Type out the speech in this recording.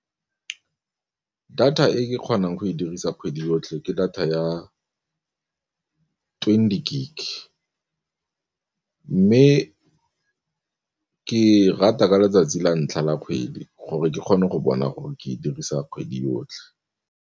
Data e ke kgonang go e dirisa kgwedi yotlhe, ke data ya twenty gig mme ke rata ka letsatsi la ntlha la kgwedi gore ke kgone go bona gore ke dirisa kgwedi yotlhe.